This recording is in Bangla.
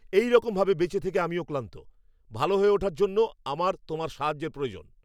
এরকম ভাবে বেঁচে থেকে আমি ক্লান্ত! ভালো হয়ে ওঠার জন্য আমার তোমার সাহায্যের প্রয়োজন!